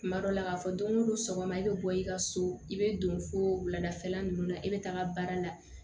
Kuma dɔ la k'a fɔ don ko don sɔgɔma e bɛ bɔ i ka so i bɛ don fo wuladafɛla ninnu na e bɛ taa baara la